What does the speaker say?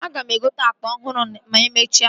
Ị ga-egote akpa ọhụrụ ma emechaa